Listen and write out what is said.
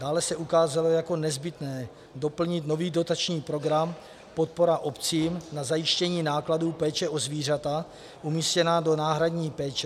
Dále se ukázalo jako nezbytné doplnit nový dotační program podpora obcím na zajištění nákladů péče o zvířata umístěná do náhradní péče.